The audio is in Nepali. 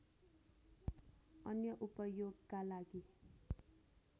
अन्य उपयोगका लागि